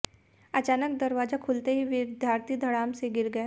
अचानक दरवाजा खुलते ही विद्यार्थी धड़ाम से गिर गए